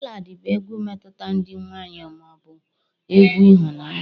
Ballad bụ egwu mmetụta dị nwayọọ ma ọ bụ egwu ịhụnanya